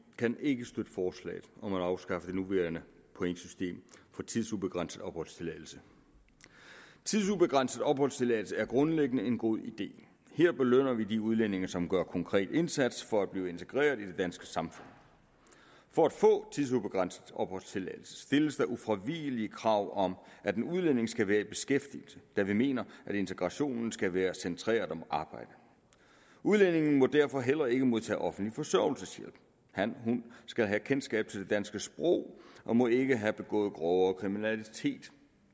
kan ikke støtte forslaget om at afskaffe det nuværende pointsystem for tidsubegrænset opholdstilladelse tidsubegrænset opholdstilladelse er grundlæggende en god idé her belønner vi de udlændinge som gør en konkret indsats for at blive integreret i det danske samfund for at få tidsubegrænset opholdstilladelse stilles der ufravigelige krav om at en udlænding skal være i beskæftigelse da vi mener at integrationen skal være centreret om arbejdet udlændingene må derfor heller ikke modtage offentlig forsørgelseshjælp hanhun skal have kendskab til det danske sprog og må ikke have begået grovere kriminalitet